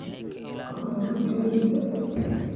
Qalaji galleyda.